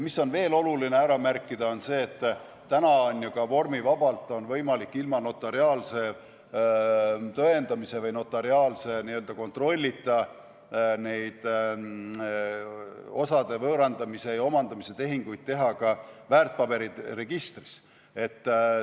Veel on oluline ära märkida, et täna on ju ka vormivabalt võimalik, ilma notariaalse tõendamise või notariaalse kontrollita neid osade võõrandamise ja omandamise tehinguid teha ka väärtpaberite registris.